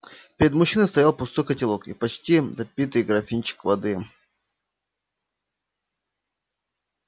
перед мужчиной стоял пустой котелок и почти допитый графинчик воды